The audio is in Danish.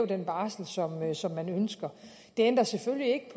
den barselsorlov som de ønsker det ændrer selvfølgelig ikke